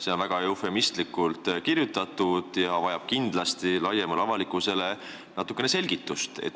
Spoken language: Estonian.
" See on väga eufemistlikult kirjutatud ja vajab kindlasti laiemale avalikkusele natukene selgitust.